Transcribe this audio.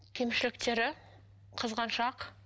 кемшіліктері қызғаншақ